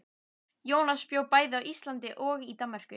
Jónas bjó bæði á Íslandi og í Danmörku.